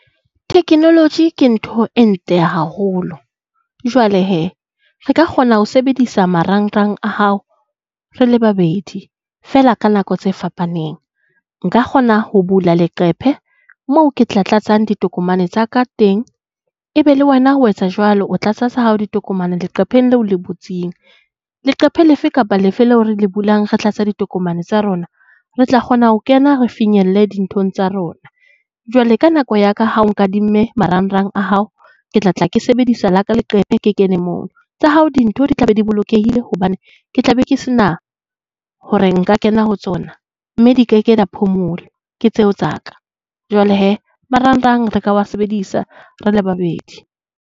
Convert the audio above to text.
Theknoloji ke ntho e ntle haholo. Jwale hee re ka kgona ho sebedisa marangrang a hao re le babedi feela ka nako tse fapaneng. Nka kgona ho bula leqephe moo ke tla tlatsa ditokomane tsa ka teng, e be le wena o etsa jwalo, o tlatsa tsa hao ditokomane leqepheng le o le butseng. Leqephe lefe kapa lefe leo re le bulang re tlatsa ditokomane tsa rona, re tla kgona ho kena re finyelle dinthong tsa rona. Jwale ka nako ya ka ha o nkadimme marang-rang a hao, ke tla tla ke sebedisa la ka leqephe ke kene moo. Tsa hao dintho di tla be di bolokehile hobane ke tla be ke sena hore nka kena ho tsona, mme di keke ke tseo tsa ka. Jwale hee marang-rang re ka wa sebedisa re le babedi.